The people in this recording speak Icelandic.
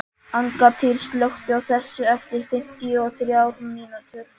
Angantýr, slökktu á þessu eftir fimmtíu og þrjár mínútur.